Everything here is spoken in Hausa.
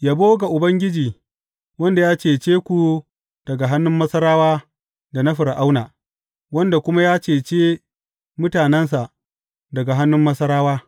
Yabo ga Ubangiji wanda ya cece ku daga hannun Masarawa da na Fir’auna, wanda kuma ya cece mutanensa daga hannun Masarawa.